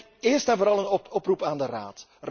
Ik denk eerst en vooral een oproep aan de Raad.